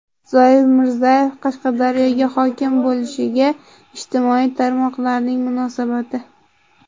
Zoir Mirzayev Qashqadaryoga hokim bo‘lishiga ijtimoiy tarmoqlarning munosabati.